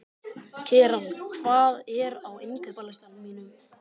Keran, hvað er á innkaupalistanum mínum?